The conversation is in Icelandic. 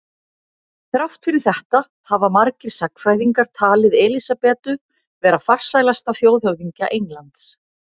Þrátt fyrir þetta hafa margir sagnfræðingar talið Elísabetu vera farsælasta þjóðhöfðingja Englands.